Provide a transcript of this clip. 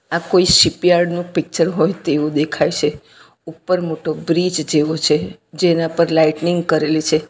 આ કોઈ શિપયાર્ડ નુ પિક્ચર હોય તેવું દેખાય છે ઉપર મોટો બ્રિજ જેવો છે જેના પર લાઇટનિંગ કરેલી છે.